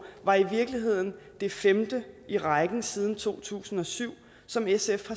var i virkeligheden det femte i rækken siden to tusind og syv som sf